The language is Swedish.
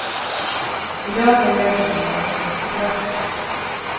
I dag är lösningen en snygg kropp.